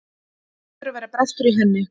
Það hlýtur að vera brestur í henni.